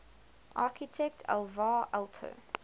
architect alvar aalto